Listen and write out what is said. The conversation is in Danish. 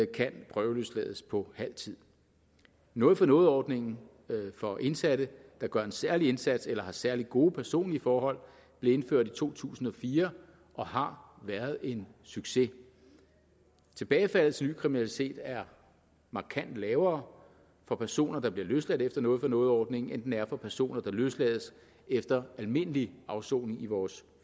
kan prøveløslades på halv tid noget for noget ordningen for indsatte der gør en særlig indsats eller har særlig gode personlige forhold blev indført i to tusind og fire og har været en succes tilbagefaldet til ny kriminalitet er markant lavere for personer der bliver løsladt efter noget for noget ordningen end den er for personer der løslades efter almindelig afsoning i vores